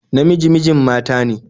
Namiji mijin mata ne